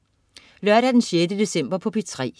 Lørdag den 6. december - P3: